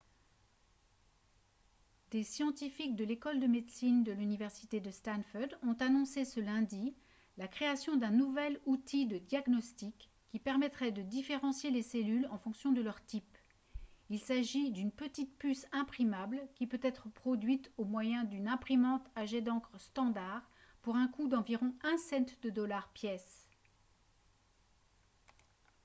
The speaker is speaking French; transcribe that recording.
des scientifiques de l'école de médecine de l'université de stanford ont annoncé ce lundi la création d'un nouvel outil de diagnostic qui permettrait de différencier les cellules en fonction de leur type il s'agit d'une petit puce imprimable qui peut être produite au moyen d'une imprimante à jet d'encre standard pour un coût d'environ un cent de dollar pièce